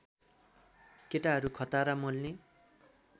केटाहरू खतरा मोल्ने